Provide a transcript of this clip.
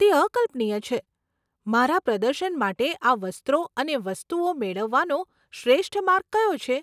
તે અકલ્પનીય છે. મારા પ્રદર્શન માટે આ વસ્ત્રો અને વસ્તુઓ મેળવવાનો શ્રેષ્ઠ માર્ગ કયો છે?